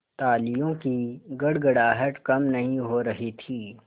तालियों की गड़गड़ाहट कम नहीं हो रही थी